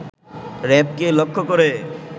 র‌্যাবকে লক্ষ্য করে